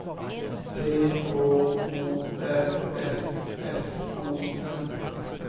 T H O R S S O N